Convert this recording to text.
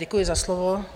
Děkuji za slovo.